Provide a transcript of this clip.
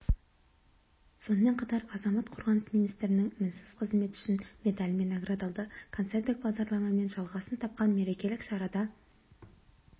сонымен қатар азамат қорғаныс министрінің мінсіз қызмет үшін медалімен наградталды концерттік бағдарламамен жалғасын тапқан мерекелік шарада